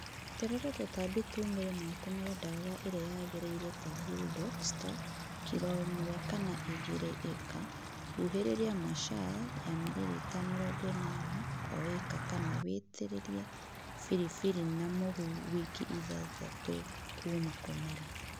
Eterera tũtambi tumĩre na ũtũmire dawa ĩrĩa yagĩrĩire ta 'bull dock star'kilo 1kana 2 ĩka, huhĩrĩria 'marshal' ya mililitre 80 o ĩka kana witĩrĩrie firifiri na mũhu wiki ithathatũ kuma kũmera.